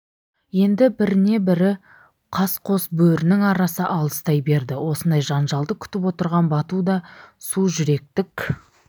енді біріне-бірі қас қос бөрінің арасы алыстай берді осындай жанжалды күтіп отырған бату да су жүректік